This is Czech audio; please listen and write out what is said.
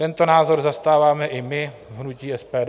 Tento názor zastáváme i my v hnutí SPD.